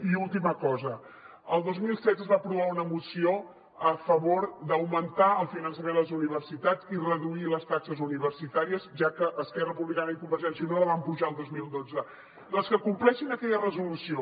i última cosa el dos mil setze es va aprovar una moció a favor d’augmentar el finançament a les universitats i reduir les taxes universitàries ja que esquerra republicana i convergència i unió les van apujar el dos mil dotze doncs que compleixin aquella resolució